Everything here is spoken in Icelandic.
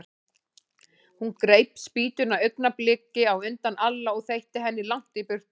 Hún greip spýtuna augnabliki á undan Alla og þeytti henni langt í burtu.